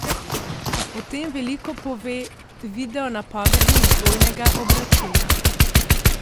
O tem veliko pove video napovednik dvojnega obračuna.